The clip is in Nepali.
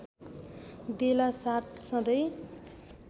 देला साथ सधैँ